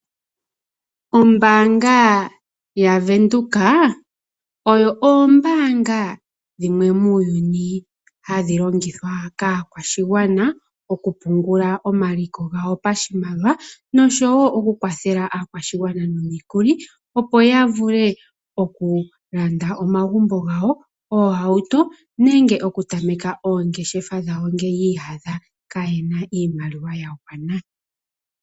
Ombaanga yaVenduka odho oombaanga dhimwe muuyuni hadhi longithwa kaakwashigwana oku pungula omaliko gawo pashimaliwa noshowo oku kwathela aakwashigwana nomikuli, opo ya vule oku landa omagumbo gawo, oohauto nenge oku tameka oongeshefa dhawo ngele yi iyadha kaa yena iimaliwa ya gwana.